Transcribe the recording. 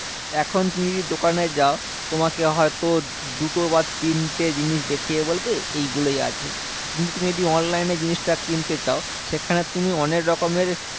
এখন তুমি যদি দোকানে যাও? তোমাকে হয়তো দুটো বা তিনটে জিনিস দেখিয়ে বলবে, এইগুলোই আছে। কিন্তু তুমি যদি online এ জিনিসটা কিনতে চাও? সেখানে তুমি অনেকরকমের